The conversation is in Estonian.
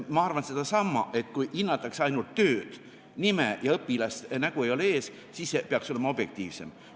Ma arvan sedasama, et kui hinnatakse ainult tööd – nime, õpilast ja nägu ei ole ees – siis peaks olema objektiivsem.